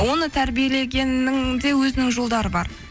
оны тәрбиелегеннің де өзінің жолдары бар